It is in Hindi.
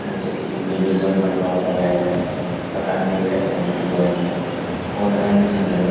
जैसे कि बेबी जॉनसन पाउडर है पतंजलि का शैम्पू है और अन्य चीज है।